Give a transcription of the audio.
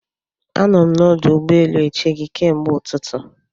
Anọ m na ọdụ ụgbọ elu eche gị ke mgbe ụtụtụ